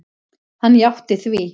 Hann játti því.